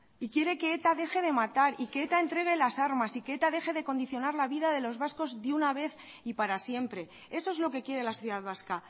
y quiere que eta deje de matar y que eta entregue las armas y que eta deje de condicionar la vida de los vascos de una vez y para siempre eso es lo que quiere la sociedad vasca